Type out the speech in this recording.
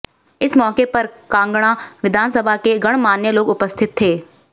इस मौके पर कांगड़ा विधानसभा के गणमान्य लोग उपस्थित थे